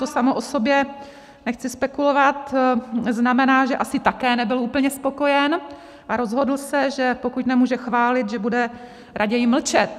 To samo o sobě - nechci spekulovat - znamená, že asi také nebyl úplně spokojen, a rozhodl se, že pokud nemůže chválit, že bude raději mlčet.